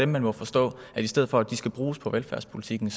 man må forstå at i stedet for at de skal bruges på velfærdspolitikken